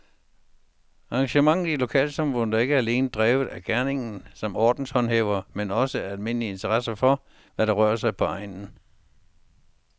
Engagementet i lokalsamfundet er ikke alene drevet af gerningen som ordenshåndhæver, men også af almindelig interesse for, hvad der rører sig på egnen.